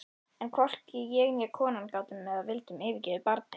En hvorki ég né konan gátum eða vildum yfirgefa barnið.